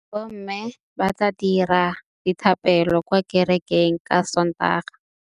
Bommê ba tla dira dithapêlô kwa kerekeng ka Sontaga.